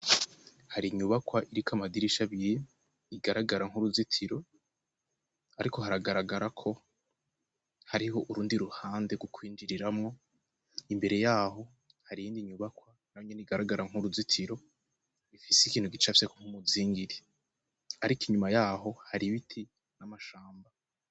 Hari inyubakwa iriko amadirisha abiri, igaragara nk'uruzitiro, ariko haragaragara ko hari ho urundi ruhande rwo kw'injiriramwo, imbere yaho hari iyindi nyubakwa na yo nyene igaragar nk'uruzitiro, ifise ikintu gicafye nk'umuzingiri. Ariko inyuma ya ho hari ibiti n'amashamba.